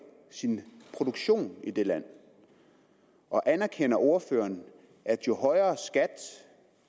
sin produktion i det land og anerkender ordføreren at jo højere skat